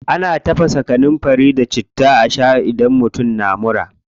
Ana tafasa kanunfari da citta a shaa idan mutum na mura.